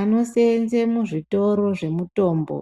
Anoseenze muzvitoro zvemutombo